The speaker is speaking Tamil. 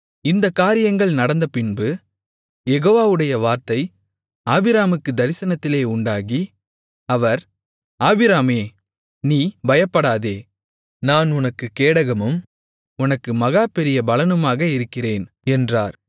இந்தக் காரியங்கள் நடந்தபின்பு யெகோவாவுடைய வார்த்தை ஆபிராமுக்குத் தரிசனத்திலே உண்டாகி அவர் ஆபிராமே நீ பயப்படாதே நான் உனக்குக் கேடகமும் உனக்கு மகா பெரிய பலனுமாக இருக்கிறேன் என்றார்